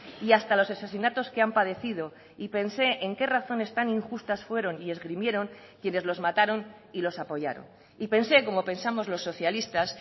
y hasta los asesinatos que han padecido y pensé en qué razones tan injustas fueron y esgrimieron quienes los mataron y los apoyaron y pensé como pensamos los socialistas